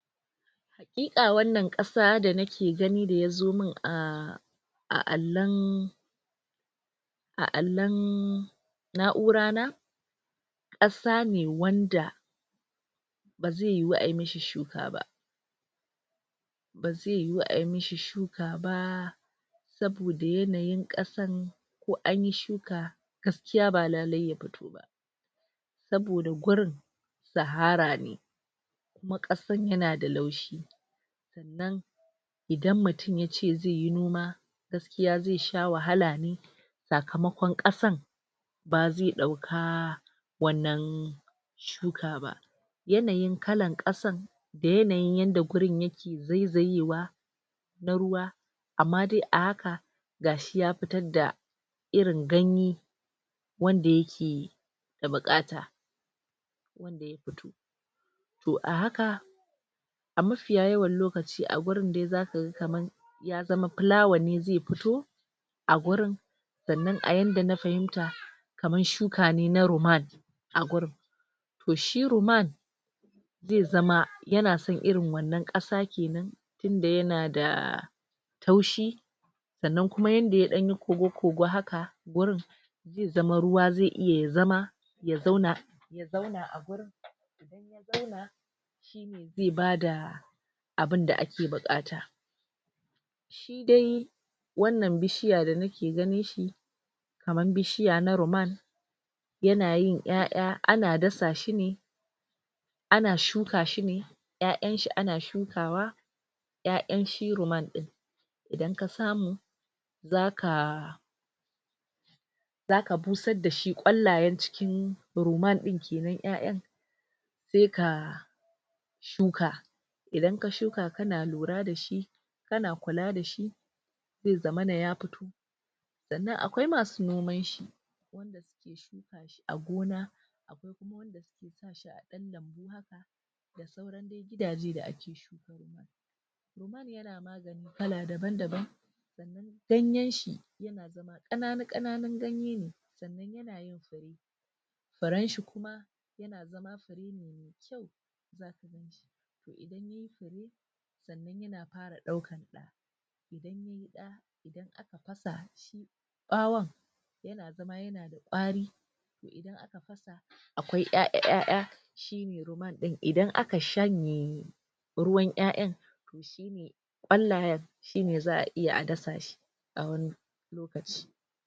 Hakika wannan kasa da nake gani da ya zo mun a a alon a alon naura na kasa ne wanda ba zai yiwu ayi mashi shuka ba ba zai yiwu ayi mashi shuka ba saboda yanayin kasan ko anyi shuka gaskiya ba lalle ya fito ba saboda gurin sahara ne kuma kasan yanada laushi sannan idan mutum yace zai yi noma gaskiya zai sha wahala ne sakamakon kasan ba zai dauka wannan shuka ba yanayin kalan kasan da yanayin yanda gurin yake zaizayewa na ruwa amma dai a haka gashi ya fitar da irin ganye wanda yake da bukata wanda ya fito to a haka a mafiya yawan lokaci a gurin dai zaka ga kaman ya zama filawan ne zai fito a gurin sannan a yanda na fahimta kaman shuka ne na ruman a gurin to shi ruman zai zama yana son irin wannan kasa kenan inda yanada taushi sannan kuma yanda ya dan yi kogo kog haka wurin zai zama ruwa zai iya ya zama ya zauna ya zauna a gurin idan ya zauna shine zai bada abin da ake bukata shi dai wannan bishiya da nake ganin shi kaman bishiya na ruman yana yin yaya ana dasa shi ne ana shuka shi ne yayan shi ana shuka wa yayan shi ruman din idan ka samu zaka zaka busar dashi kwallayen cikin ruman din kenan yayan sai ka shuka idan ka shuka kana lura da shi kana kula da shi zai zamana ya fito sannan akwai masu noman shi wanda suke shuka shi a gona akwai kuma wadanda suke sa shi a dan lambu haka da sauran dai gidaje da ake shuka ruman.ruman yana magani kala daban daban sannan ganyen shi yana zama kananu kananun ganye ne sannan yana yin fure, furen shi kuma yana zama fure ne me kyau zaka ganshi to idan yayi fure sannan yana fara daukan da idan yayi da idan aka fasa shi bawon yana zama yana da kwari to idan aka fasa akwai yaya yaya shine ruman din idan aka shanye ruwan yayan to shine kwallayen shine za a iya a dasa shi a wani lokaci.